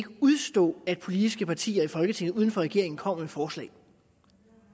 kan udstå at politiske partier i folketinget uden for regeringen kommer med forslag